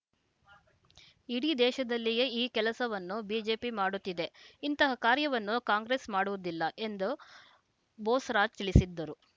ಇಡೀ ದೇಶದಲ್ಲಿಯೇ ಈ ಕೆಲಸವನ್ನು ಬಿಜೆಪಿ ಮಾಡುತ್ತಿದೆ ಇಂತಹ ಕಾರ್ಯವನ್ನು ಕಾಂಗ್ರೆಸ್‌ ಮಾಡುವುದಿಲ್ಲ ಎಂದು ಬೋಸರಾಜ್ ತಿಳಿಸಿದರು